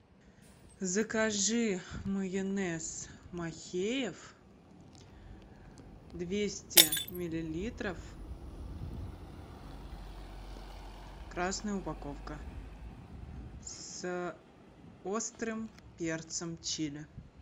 закажи майонез махеев двести миллилитров красная упаковка с острым перцем чили